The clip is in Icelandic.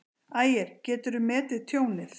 Ægir: Geturðu metið tjónið?